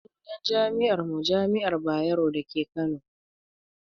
Sunan jami'ar mu jami'ar bayero dake kano